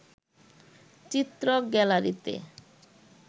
চিত্রক গ্যালারিতে